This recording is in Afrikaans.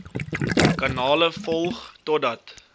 kanale volg totdat